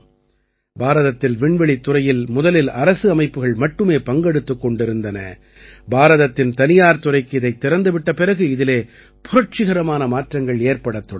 பாரதத்தில் விண்வெளித்துறையில் முதலில் அரசு அமைப்புகள் மட்டுமே பங்கெடுத்துக் கொண்டிருந்தன பாரதத்தின் தனியார் துறைக்கு இதைத் திறந்து விட்ட பிறகு இதிலே புரட்சிகரமான மாற்றங்கள் ஏற்படத் தொடங்கின